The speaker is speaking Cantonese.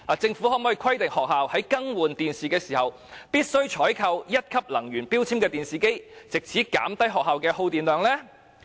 政府可否規定學校在更換電視機時，必須採購1級能源標籤的電視機，藉以減低學校的耗電量？